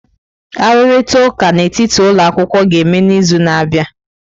Arụrịta ụka n'etiti ụlọ akwụkwọ ga-eme n'izu na-abịa.